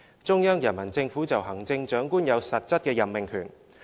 中央人民政府就行政長官有實質的任命權。